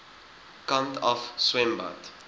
kant af swembad